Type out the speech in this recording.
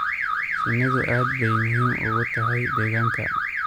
Shinnidu aad bay muhiim ugu tahy deegaanka.